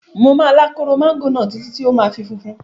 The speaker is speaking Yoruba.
Mo máa lá kóró máńgò náà títí tí ó fi máa funfun.